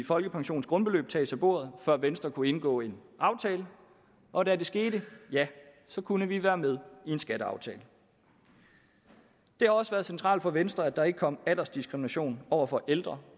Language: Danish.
folkepensionens grundbeløb tages af bordet før venstre kunne indgå en aftale og da det skete ja så kunne vi være med i en skatteaftale det har også været centralt for venstre at der ikke kom aldersdiskrimination over for ældre